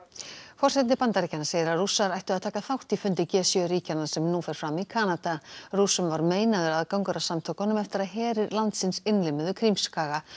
forseti Bandaríkjanna segir að Rússar ættu að taka þátt í fundi g sjö ríkjanna sem nú fer fram í Kanada Rússum var meinaður aðgangur að samtökunum eftir að herir landsins innlimuðu Krímskaga